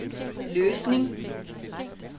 Løsning